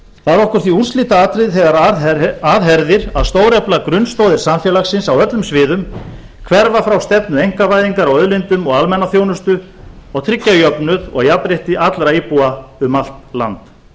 það er okkur því úrslitaatriði þegar að herðir að stórefla grunnstoðir samfélagsins á öllum sviðum hverfa frá stefnu einkavæðingar á auðlindum og almannaþjónustu og tryggja jöfnuð og jafnrétti allra íbúa um allt land